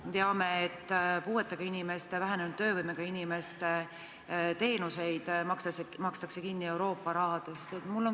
Me teame, et puuetega inimeste, vähenenud töövõimega inimeste teenuseid makstakse kinni Euroopa rahast.